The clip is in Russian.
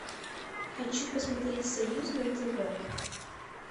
хочу посмотреть союз на тв